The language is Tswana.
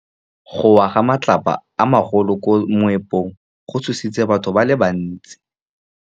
Go wa ga matlapa a magolo ko moepong go tshositse batho ba le bantsi.